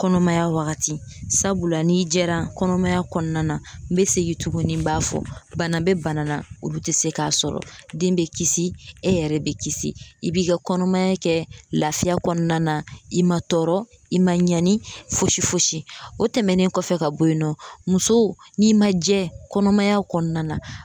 Kɔnɔmaya wagati la, n'i jɛra kɔnɔmaya kɔnɔna na ,n be segin tuguni n b'a fɔ bana bɛ bana na ,olu te se k'a sɔrɔ, den bɛ kisi e yɛrɛ bɛ kisi, i b'i ka kɔnɔmaya kɛ lafiya kɔnɔna na ,i ma tɔɔrɔ i ma ɲani fosi fosi, o tɛmɛnen kɔfɛ ka bɔ yen nɔ, muso n'i ma jɛ kɔnɔmaya kɔnɔna na